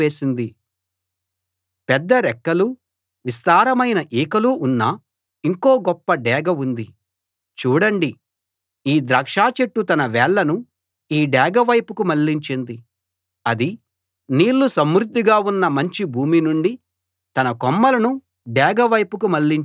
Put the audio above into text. పెద్ద రెక్కలూ విస్తారమైన ఈకలూ ఉన్న ఇంకో గొప్ప డేగ ఉంది చూడండి ఈ ద్రాక్ష చెట్టు తన వేళ్ళను ఈ డేగ వైపుకి మళ్ళించింది అది నీళ్ళు సమృద్ధిగా ఉన్న మంచి భూమి నుండి తన కొమ్మలను డేగ వైపుకి మళ్ళించింది